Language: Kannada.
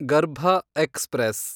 ಗರ್ಭ ಎಕ್ಸ್‌ಪ್ರೆಸ್